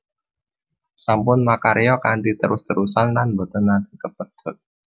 Sampun makarya kanthi terus terusan lan boten naté kapedhot